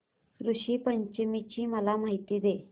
ऋषी पंचमी ची मला माहिती दे